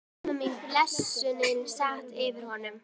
Og amma mín, blessunin, sat yfir honum.